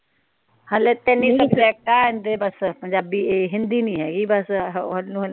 ਹਲੇ ਤਿੰਨ ਈ ਸੁਬਜੇਕਟ ਆ ਏਦੇ ਬਸ ਪੰਜਾਬੀ ਏ ਹਿੰਦੀ ਨਹੀਂ ਹੇਗੀ ਬਸ